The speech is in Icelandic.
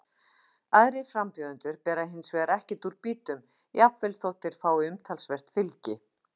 Aðrir frambjóðendur bera hins vegar ekkert úr býtum, jafnvel þótt þeir fái umtalsvert fylgi.